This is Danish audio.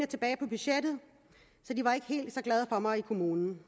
tilbage på budgettet så de var ikke helt så glade for mig i kommunen